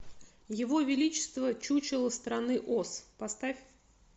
его величество чучело страны оз поставь